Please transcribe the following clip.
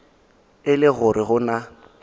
e le gore go na